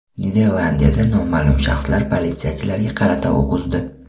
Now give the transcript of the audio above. Niderlandiyada noma’lum shaxslar politsiyachilarga qarata o‘q uzdi.